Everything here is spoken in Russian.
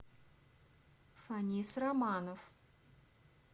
фанис романов